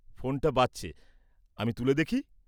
ফোনটা বাজছে, আমি তুলে দেখি।